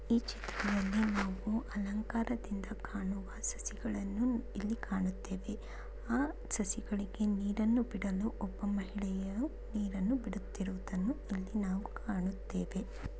ಈ ಚಿತ್ರದಲ್ಲಿ ನಾವು ಅಲಂಕಾರದಿಂದ ಕಾಣುವ ಸಸಿಗಳನ್ನು ಇಲ್ಲಿ ಕಾಣುತ್ತೇವೆ ಆ ಸಸಿಗಳಿಗೆ ನೀರನ್ನು ಬಿಡಲು ಒಬ್ಬ ಮಹಿಳೆಯು ನೀರನ್ನು ಬಿಡುತ್ತಿರುವುದನ್ನು ಇಲ್ಲಿ ನಾವು ಕಾಣುತ್ತೇವೆ.